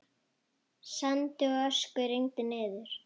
Sandi og ösku rigndi niður.